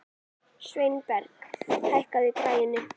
Sveinberg, hækkaðu í græjunum.